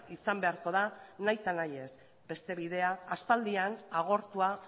izan beharko da nahita nahi ez beste bidea aspaldian agortua